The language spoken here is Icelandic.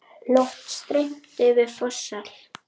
Loft steypt yfir forsal.